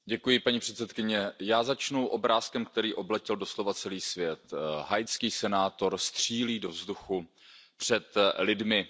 Paní předsedající, já začnu obrázkem, který obletěl doslova celý svět haitský senátor střílí do vzduchu před lidmi.